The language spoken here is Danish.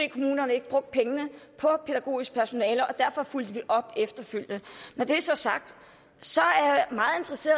kommunerne ikke brugte pengene på pædagogisk personale og derfor fulgte vi op efterfølgende når det så er sagt